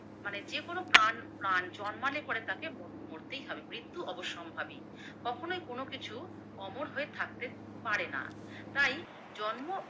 মানে যেকোনো প্রাণ প্রাণ জন্মালে পরে তাকে মোর মরতেই হবে, মৃত্যু অবসম্ভাবী, কখনোই কোনো কিছু অমর হয়ে থাকতে পারেনা, তাই জন্ম